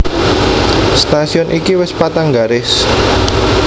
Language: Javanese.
Stasiun iki wis patang garis